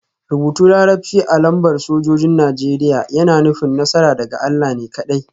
Rubutun Larabci a lambar sojojin Najeriya yana nufin; Nasara daga Allah ne kaɗai